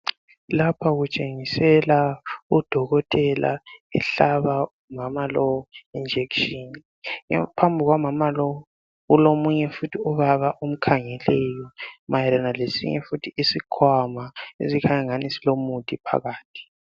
Lapha kutshengiselwa kudokotela ehlaba umama lowu ijekiseni. Phambi kukamama lowu kulomunye futhi ubaba omkhangeleyo mayelana lefuthi eisinye isikhwama esikhanya angani silomuthi phakathi.